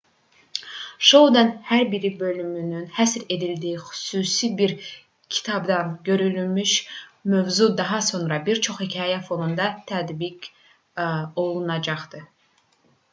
şounun hər bir bölümünün həsr edildiyi xüsusi bir kitabdan götürülmüş mövzu daha sonra bir çox hekayə fonunda tədqiq olunacaqdı